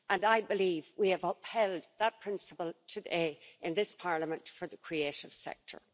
I believe we have upheld that principle today in this Parliament for the creative sector.